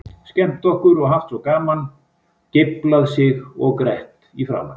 Skemmt okkur og haft svo gaman, geiflað svo og grett í framan.